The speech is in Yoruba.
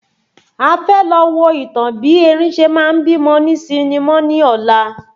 A fẹ́ lọ wo ìtàn bí erin ṣe ma ń bímọ ní sinimọ́ ní ọ̀la